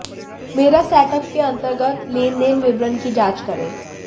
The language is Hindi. मेरा सेटअप के अंतर्गत लेनदेन विवरण की जाँच करें